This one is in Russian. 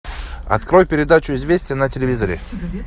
открой передачу известия на телевизоре